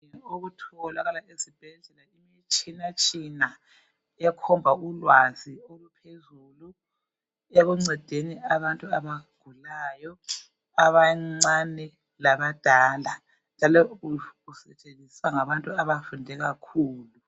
Okutholakala esibhedlela imitshina tshina ekhomba ulwazi oluphezulu ekuncedeni abantu abagulayo abancane labadala njalo usetsenziswa ngabantu abafunde kakhulu.